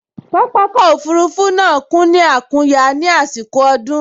Pápákọ̀ òfurufú náà kún ní àkúnya ní àsìkò ọdún